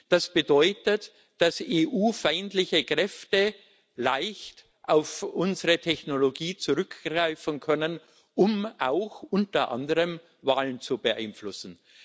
Das bedeutet, dass EU feindliche Kräfte leicht auf unsere Technologie zurückgreifen können, um auch unter anderem Wahlen zu beeinflussen.